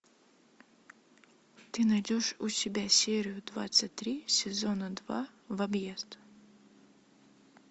ты найдешь у себя серию двадцать три сезона два в объезд